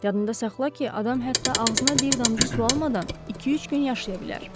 Yadında saxla ki, adam hətta ağzına bir damcı su almadan iki-üç gün yaşaya bilər.